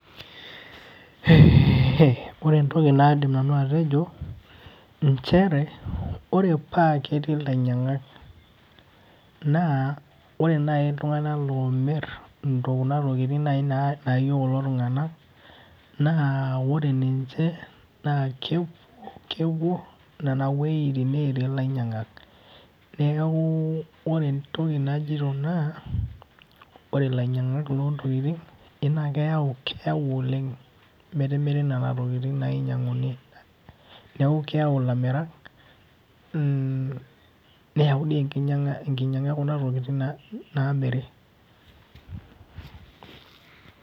Eeehe ore entoki naidim nanu atejo nchere ore paa ketii ilainyiangak naa ore naaji iltunganak oomir, kunatokitin naayieu kulo tunganak naa wore niche naa kepuo nena wuejitin neetii ilainyiangak. Niaku ore entoki najoito naa ore ilainyiangak loontokin eji naa keyau oleng netimiri nena tokitin n aas inyisnguni. Neaku keyau ilamirak neyau dii enkiyianga ekuna tokitin naamiri.